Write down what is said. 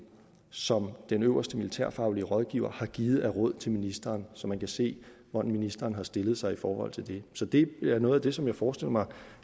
som den øverste militærfaglige rådgiver har givet af råd til ministeren så man kan se hvordan ministeren har stillet sig i forhold til det så det er noget af det som jeg forestiller mig